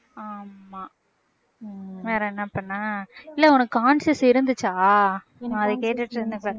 ஆமாம் வேற என்ன பண்ண இல்லை உனக்கு conscious இருந்துச்சா நான் அதை கேட்டுட்டு இருந்தேன்